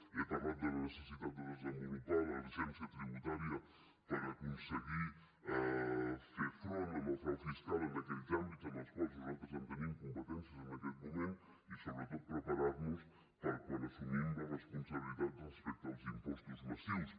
he parlat de la necessitat de desenvolupar l’agència tributària per aconseguir fer front al frau fiscal en aquells àmbits en els quals nosaltres tenim competències en aquest moment i sobretot preparar nos per quan assumim la responsabilitat respecte als impostos massius